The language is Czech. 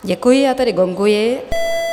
Děkuji, já tedy gonguji.